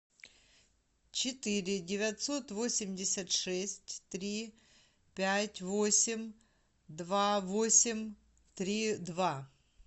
четыре девятьсот восемьдесят шесть три пять восемь два восемь три два